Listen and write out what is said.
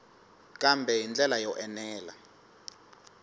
kambe hi ndlela yo enela